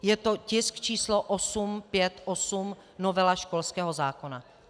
Je to tisk číslo 858, novela školského zákona.